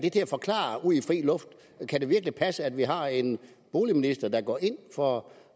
forklare ude i fri luft kan det virkelig passe at vi har en boligminister der går ind for